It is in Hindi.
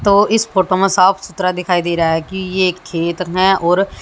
तो इस फोटो में साफ सुथरा दिखाई दे रहा है कि ये खेत है और--